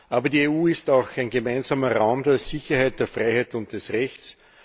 Aber die EU ist auch ein gemeinsamer Raum der Sicherheit, der Freiheit und des Rechts.